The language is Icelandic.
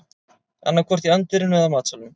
Annaðhvort í anddyrinu eða matsalnum